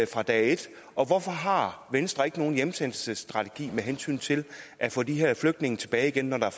fra dag et og hvorfor har venstre ikke nogen hjemsendelsesstrategi med hensyn til at få de her flygtninge tilbage igen når der